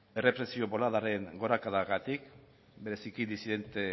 errepresio boladaren gorakadagatik bereziki disidente